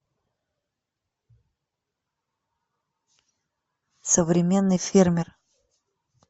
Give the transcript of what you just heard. современный фермер